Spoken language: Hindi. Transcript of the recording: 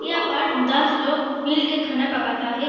यहाँ पर दस लोग मिल के खाना पकाता है।